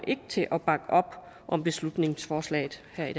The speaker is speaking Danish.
til at bakke op om beslutningsforslaget her i